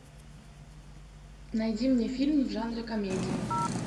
найди мне фильм в жанре комедия